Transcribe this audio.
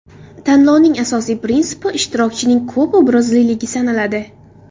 Tanlovning asosiy prinsipi ishtirokchining ko‘p obrazliligi sanaladi.